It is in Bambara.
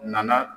Nana